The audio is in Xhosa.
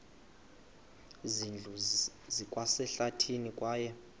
zindlu zikwasehlathini kwaye